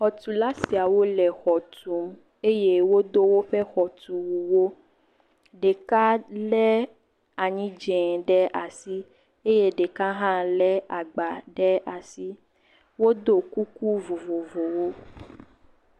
Xɔtula siawo le xɔ tum eye wodo woƒe xɔtunuwo, ɖeka lé anyi dze ɖe asi eye ɖeka hã lé agba ɖe asi, wod kuku vovovovowo.